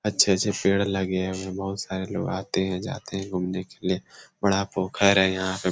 अच्छे-अच्छे पेड़ लगे हुए हैं बहुत सारे लोग आते हैं जाते हैं घूमने के लिए बड़ा पोखर है यहां पे --